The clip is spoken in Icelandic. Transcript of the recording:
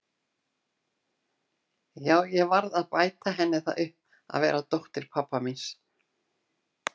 Já, ég varð að bæta henni það upp að vera dóttir pabba míns.